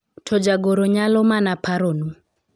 to jagoro nyalo mana paro nu